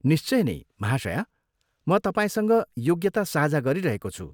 निश्चय नै, महाशया! म तपाईँसँग योग्यता साझा गरिरहेको छु।